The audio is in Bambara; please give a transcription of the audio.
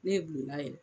Ne ye bulon na yɛlɛ